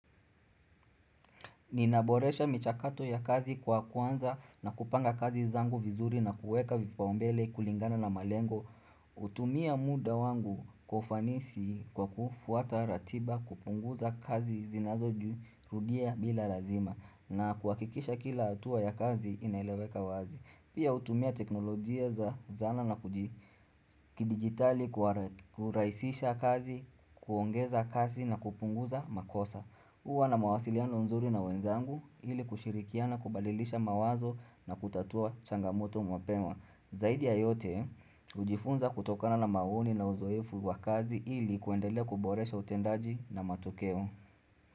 Ninaboresha michakato ya kazi kwa kuanza na kupanga kazi zangu vizuri na kuweka vipaumbele kulingana na malengo. Hutumia muda wangu kufanisi kwa kufuata ratiba kupunguza kazi zinazo jirudia bila lazima na kuhakikisha kila hatua ya kazi inaileweka wazi. Pia hutumia teknolojia za zana na kidigitali kurahisisha kazi, kuongeza kazi na kupunguza makosa. Kuwa na mawasiliano nzuri na wenzangu hili kushirikiana kubalilisha mawazo na kutatua changamoto mapema. Zaidi ya yote, hujifunza kutokana na maoni na uzoefu wa kazi ili kuendelea kuboresha utendaji na matokeo.